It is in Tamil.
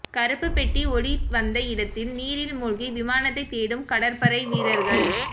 கருப்புப் பெட்டி ஒலி வந்த இடத்தில் நீரில் மூழ்கி விமானத்தை தேடும் கடற்படை வீரர்கள்